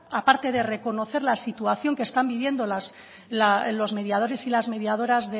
aparte de reconocer la situación que están viviendo los mediadores y las mediadoras